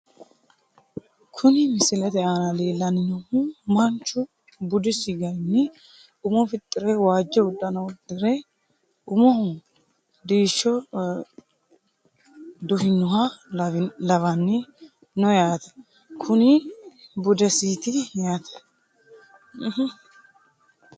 Kuni misilete aana leellanni noohu manchu budisi garinni umo fixxire waajjo uddano uddire umoho diishsho duhinoha lawanni no yaate ,kuni budesiiti yaate.